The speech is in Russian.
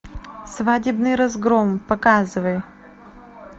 свадебный разгром показывай